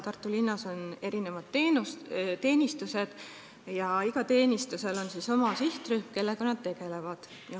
Tartus on mitmed teenistused ja igal teenistusel on oma sihtrühm, kellega nad tegelevad.